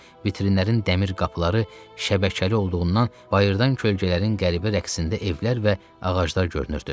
Vitrinlərin dəmir qapıları şəbəkəli olduğundan bayırdan kölgələrin qəribə rəqsində evlər və ağaclar görünürdü.